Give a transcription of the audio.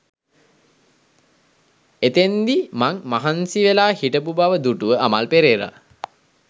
එතෙන්දි මං මහන්සි වෙලා හිටපු බව දුටුව අමල් පෙරේරා